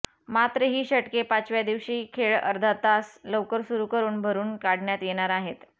मात्र ही षटके पाचव्या दिवशी खेळ अर्धा तास लवकर सुरू करून भरून काढण्यात येणार आहेत